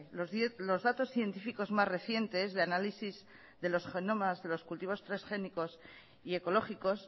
los datos científicos más recientes de análisis de los cultivos transgénicos y ecológicos